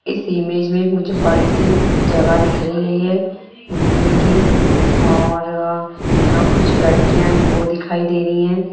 इस इमेज में मुझे बड़ी सी जगह दिख रही है ये घूमने की और यहाँ कुछ लड़कियां है वो दिखाई दे रही है।